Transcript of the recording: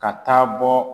Ka taa bɔ